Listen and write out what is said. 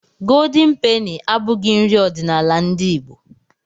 Goldeni peni abụghị nri ọdiṇala ndị Igbo